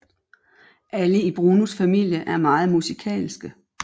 Alle i Brunos familie er meget musikalske